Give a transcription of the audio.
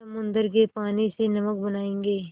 समुद्र के पानी से नमक बनायेंगे